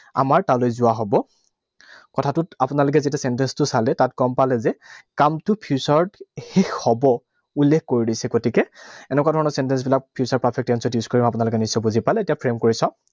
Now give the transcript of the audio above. আমাৰ তালৈ যোৱা হব। কথাটোত আপোনালোকে যেতিয়া sentence টো চালে, তাত গম পালে যে, কামটো future ত শেষ হব উল্লেখ কৰি দিছে। গতিকে এনেকুৱা ধৰণৰ sentence বিলাক future perfect tense ত use কৰিম। আপোনালোকে নিশ্চয় বুজি পালে। এতিয়া frame কৰি চাওঁ।